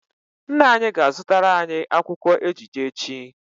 Nna anyi ga-azutara anyi akwukwo ejije echi